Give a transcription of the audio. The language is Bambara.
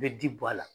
I bɛ ji bɔ a la